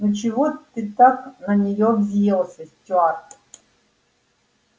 ну чего ты так на неё взъелся стюарт